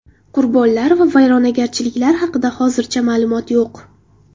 Qurbonlar va vayronagarchiliklar haqida hozircha ma’lumot yo‘q.